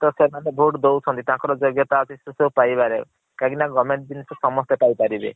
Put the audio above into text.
ତ ସେମାନେ vote ଦୌଛନ୍ତି ତାଙ୍କର ଯୋଗ୍ୟତା ଅଛି ସେସବୁ ପାଇବାରେ କାହିଁକି ନା government ଜିନିଷ ସମସ୍ତେ ପାଇପାରିବେ।